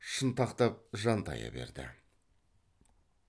шынтақтап жантая берді